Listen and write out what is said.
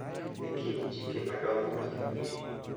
E kind chike madongo mag yie